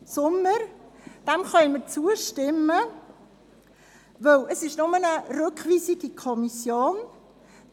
Diesem Antrag können wir zustimmen, da es sich dabei nur um eine Rückweisung an die Kommission handelt.